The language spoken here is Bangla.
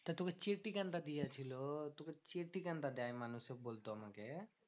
তা তোকে চেটে কেনটা দিয়েছিলো? তোকে চেটে কেনটা দেয় মানুষে বলতো আমাকে?